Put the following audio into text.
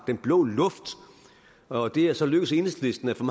den blå luft og det er så lykkedes enhedslisten at få